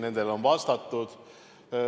Nendele on vastatud.